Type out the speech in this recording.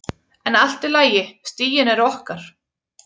En allt í lagi, stigin eru okkar.